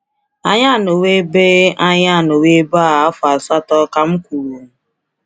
“Anyị anọwo ebe “Anyị anọwo ebe a afọ asatọ,” ka m kwuru.